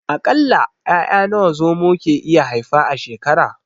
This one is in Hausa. A ƙalla 'ya'ya nawa Zomo ke iya haifa a shekara?